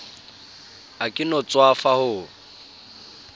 ha ke no tswafa ho